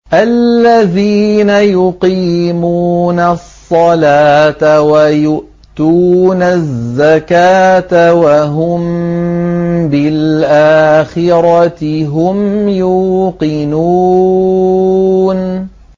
الَّذِينَ يُقِيمُونَ الصَّلَاةَ وَيُؤْتُونَ الزَّكَاةَ وَهُم بِالْآخِرَةِ هُمْ يُوقِنُونَ